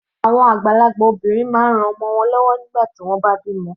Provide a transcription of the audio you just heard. Àwọn àgbàlagbà obìnrin máa ń ran àwọn ọmọ wọ́n lọ́wọ́ nígbà tí wọ́n bá bímọ.